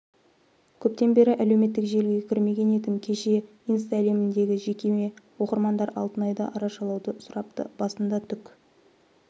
көптен бері әлеуметтік желіге кірмеген едім кеше инстаәлеміндегі жекеме оқырмандар алтынайды арашалауды сұрапты басында түк